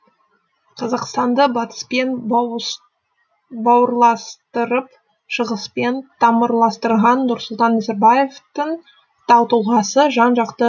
қазақстанды батыспен бауырластырып шығыспен тамырластырған нұрсұлтан назарбаевтың тау тұлғасы жан жақты